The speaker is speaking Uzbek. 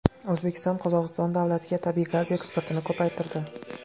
O‘zbekiston Qozog‘iston davlatiga tabiiy gaz eksportini ko‘paytirdi.